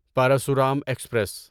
Parashuram express